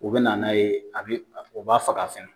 U be na n'a ye a bi u b'a faga fɛ.